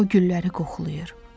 O gülləri qoxuladır.